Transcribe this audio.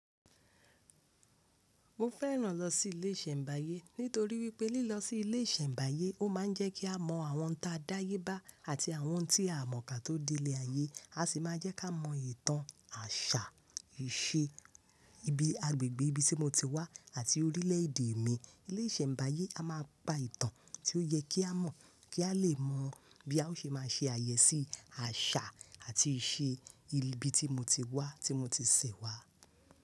Mo fẹ́ràn lọ sí ilé ìṣẹ̀ǹbáyé nítorí wípé lílọ sí ilé ìṣẹ̀ǹbáyé ó máa ń jẹ́ kí á mọ àwọn n táa dáyé bá àti àwọn ohun tí aà mọ̀ ká tó délé ayé. A sì máa jẹ́ ká mọ ìtàn, àṣà, ìṣe ibi agbègbè ibi tí mo ti wá àti orílẹ̀-èdè mi. Ilé ìṣẹ̀ǹbáyé a máa pa ìtàn tí ó yẹ kí a mọ̀, kí á lè mọ bí a ó ṣe máa ṣe àyẹ́sí àṣà àti ìṣe ibi tí mo ti wá, tí mo ti ṣẹ̀ wá.